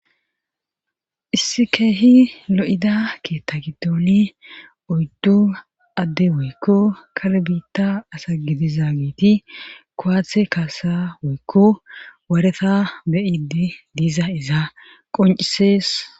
Issi keehi lo'ida keetta gidooni odddu adde woykko kalbiitta asa gidiza giiti kowaathe kaasa woykko wareta beyidi diiza iza qoncisees.